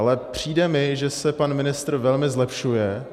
Ale přijde mi, že se pan ministr velmi zlepšuje.